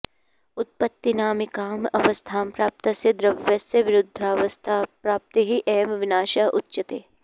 उत्पत्तिनामिकाम् अवस्थां प्राप्तस्य द्रव्यस्य विरुद्धावस्थाप्राप्तिः एव विनाशः उच्यते